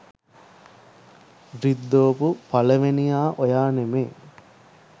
රිද්දෝපු පළවෙනියා ඔයා නෙමේ.